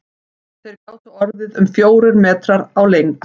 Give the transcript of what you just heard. Þeir gátu orðið um fjórir metrar á lengd.